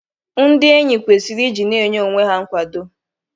Ndị enyi kwesiri iji na-enye onwe ha nkwado.